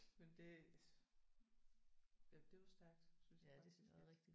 Men det ja det er jo stærkt synes jeg faktisk